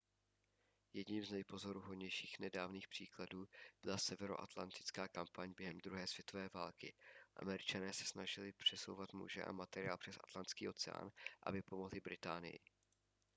jedním z nejpozoruhodnějších nedávných příkladů byla severoatlantická kampaň během druhé světové války američané se snažili přesouvat muže a materiál přes atlantský oceán aby pomohli británii